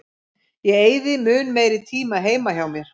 Ég eyði mun meiri tíma heima hjá mér.